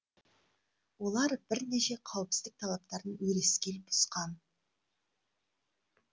олар бірнеше қауіпсіздік талаптарын өрескел бұзған